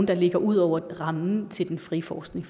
der ligger ud over rammen til den frie forskning